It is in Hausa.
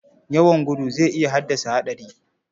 Yawan gudu zai iya haddasa haɗari.